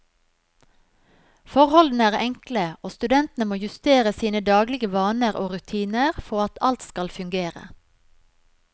Forholdene er enkle, og studentene må justere sine daglige vaner og rutiner for at alt skal fungere.